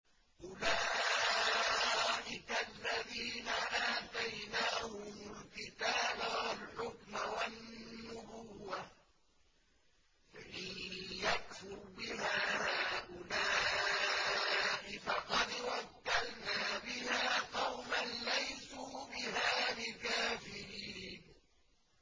أُولَٰئِكَ الَّذِينَ آتَيْنَاهُمُ الْكِتَابَ وَالْحُكْمَ وَالنُّبُوَّةَ ۚ فَإِن يَكْفُرْ بِهَا هَٰؤُلَاءِ فَقَدْ وَكَّلْنَا بِهَا قَوْمًا لَّيْسُوا بِهَا بِكَافِرِينَ